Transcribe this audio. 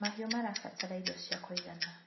mahiũ marabatara irio cia kũigana